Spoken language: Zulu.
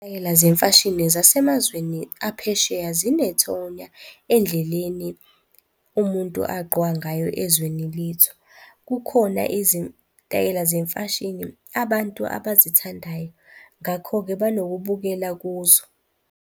Izitayela zemfashini zasemazweni aphesheya zinethonya endleleni umuntu agqoka ngayo ezweni lethu. Kukhona izitayela zemfashini abantu abazithandayo, ngakho-ke banokubukela kuzo.